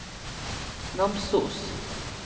Namsos